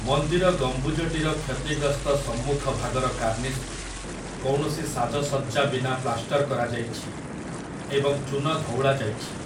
ମନ୍ଦିର ଗମ୍ବୁଜଟିର କ୍ଷତିଗ୍ରସ୍ତ ସମ୍ମୁଖଭାଗର କାର୍ଣ୍ଣିସ୍‌କୁ କୌଣସି ସାଜସଜ୍ଜା ବିନା ପ୍ଲାଷ୍ଟର କରାଯାଇଛି ଏବଂ ଚୂନଧଉଳାଯାଇଛି ।